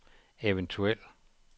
eventuel